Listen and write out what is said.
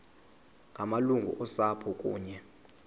ngamalungu osapho kunye